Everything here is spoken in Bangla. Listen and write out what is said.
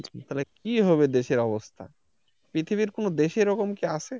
কি হবে দেশের অবস্থা পৃথিবীর কোন দেশে কি রকম আছে?